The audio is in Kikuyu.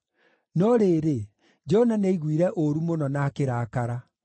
No rĩrĩ, Jona nĩaiguire ũũru mũno na akĩrakara.